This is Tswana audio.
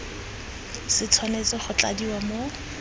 se tshwanetse go tladiwa mo